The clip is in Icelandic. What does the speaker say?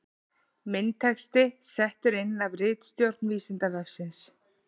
Myndatexti settur inn af ritstjórn Vísindavefsins.